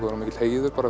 vera mikill heiður